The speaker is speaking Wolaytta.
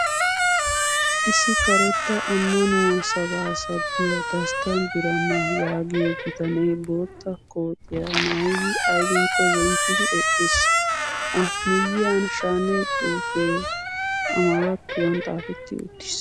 Issi karetta ammanuwaa sabaa sabbiyaa dastta birama yaagiyoo bitanee bootta kootiyaa maayyidi ayibinkko zemppidi eqqis. A miyyiyan shaane xuupee amarattuwan xaapetti uttis.